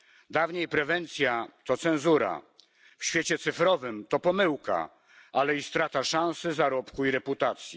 Dawniej prewencja to cenzura, w świecie cyfrowym to pomyłka, ale i strata szansy zarobku i reputacji.